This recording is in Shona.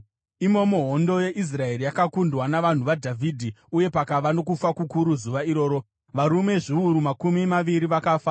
Imomo hondo yeIsraeri yakakundwa navanhu vaDhavhidhi, uye pakava nokufa kukuru zuva iroro, varume zviuru makumi maviri vakafa.